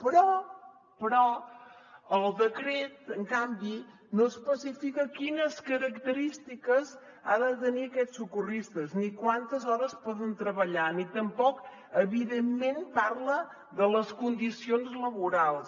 però però el decret en canvi no especifica quines característiques han de tenir aquests socorristes ni quantes hores poden treballar ni tampoc evidentment parla de les condicions laborals